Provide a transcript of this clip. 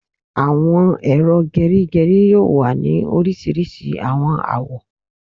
Awọn ero gerigeri yoo wa ni orisirisi awọn awọ